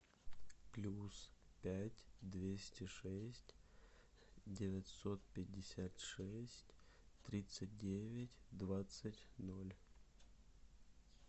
плюс пять двести шесть девятьсот пятьдесят шесть тридцать девять двадцать ноль